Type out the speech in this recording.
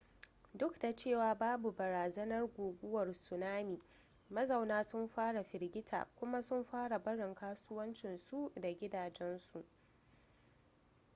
duk da cewa babu barazanar guguwar tsunami mazauna sun fara firgita kuma sun fara barin kasuwancinsu da gidajensu